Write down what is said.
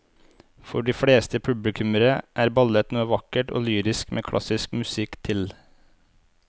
For de fleste publikummere er ballett noe vakkert og lyrisk med klassisk musikk til.